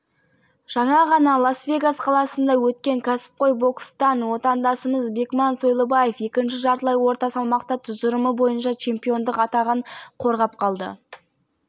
қарсыласы мексикалық фернандо варгасты жеңді кеш арнасы арқылы төрткүл дүниеге таратылды бұл кәсіби бокс кеші хабар арнасында тікелей эфирде көрсетілді